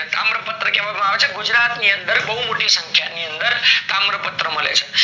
તામ્રપત્ર કહેવા માં આવે છે ગુજરાત ની અંદર બઉ મોટી સંખ્યા ની અંદર તામ્રપત્ર મળે છે